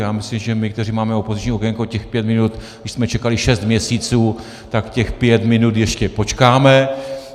Já myslím, že my, kteří máme opoziční okénko, těch pět minut, když jsme čekali šest měsíců, tak těch pět minut ještě počkáme.